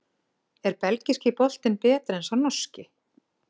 Er Belgíski boltinn betri en sá Norski?